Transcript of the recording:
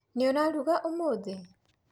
Nũũ ũraruga ũmũthĩ?